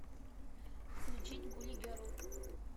включить гули герл